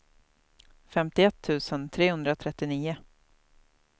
femtioett tusen trehundratrettionio